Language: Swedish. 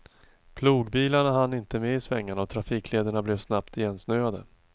Plogbilarna hann inte med i svängarna och trafiklederna blev snabbt igensnöade.